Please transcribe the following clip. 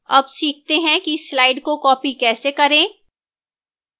अब सीखते हैं कि slide को copy कैसे करें